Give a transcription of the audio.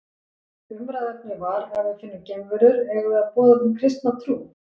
Umræðuefnið var Ef við finnum geimverur, eigum við að boða þeim kristna trú?